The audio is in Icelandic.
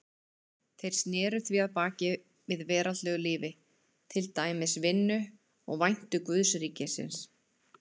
Þeir sneru því baki við veraldlegu lífi, til dæmis vinnu, og væntu guðsríkisins.